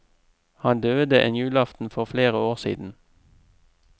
Han døde en julaften for flere år siden.